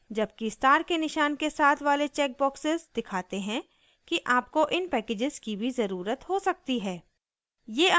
जबकि स्टार के निशान के साथ वाले चेक बॉक्सेस दिखाते हैं कि आपको इन पैकेजेस की भी ज़रुरत हो सकती है